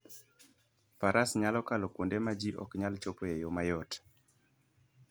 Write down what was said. Faras nyalo kalo kuonde ma ji ok nyal chopoe e yo mayot.